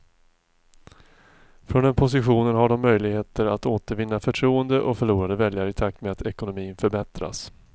Från den positionen har de möjligheter att återvinna förtroende och förlorade väljare i takt med att ekonomin förbättras.